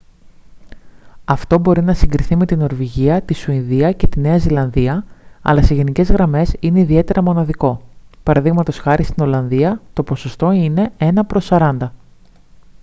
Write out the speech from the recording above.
αυτό μπορεί να συγκριθεί με τη νορβηγία τη σουηδία και τη νέα ζηλανδία αλλά σε γενικές γραμμές είναι ιδιαίτερα μοναδικό π.χ. στην ολλανδία το ποσοστό είναι ένα προς σαράντα